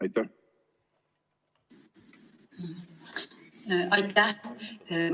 Aitäh!